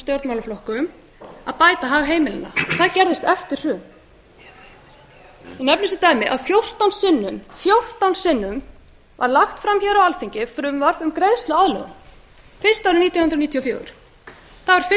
stjórnmálaflokkum að bæta hag heimilanna það gerðist eftir hrun ég nefni sem dæmi að fjórtán sinnum var lagt fram á alþingi frumvarp um greiðsluaðlögun fyrst árið nítján hundruð níutíu og fjögur það var ekki